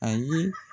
A ye